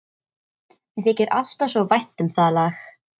Mér þykir alltaf svo vænt um það lag.